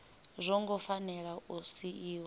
zwo ngo fanela u siiwa